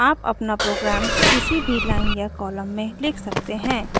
आप अपना प्रोग्राम किसी भी लाइन या कॉलम से लिख सकते हैं